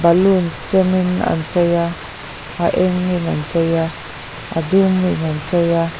balloon senin an chei a a engin an chei a a dumin an chei a.